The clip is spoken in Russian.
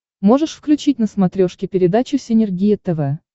можешь включить на смотрешке передачу синергия тв